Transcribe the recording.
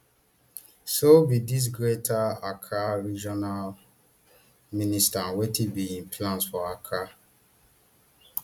so who be dis greater accra regional minister and wetin be im plans for accra